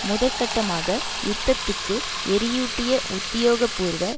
முதற் கட்டமாக யுத்தத்துக்கு எரியூட்டிய உத்தியோக பூர்வ